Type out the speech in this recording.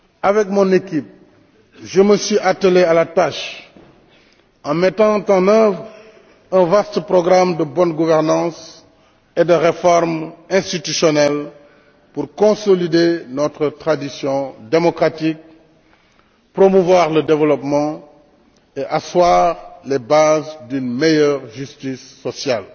Avec mon équipe, je me suis attelé à la tâche en mettant en œuvre un vaste programme de bonne gouvernance et de réformes institutionnelles pour consolider notre tradition démocratique, promouvoir le développement et asseoir les bases d'une meilleure justice sociale.